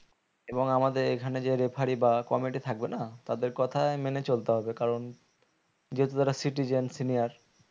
এবং আমাদের এখানে যে referee বা committee থাকবে না তাদের কথাই মেনে চলতে হবে কারণ যেহুতু তারা citizens senior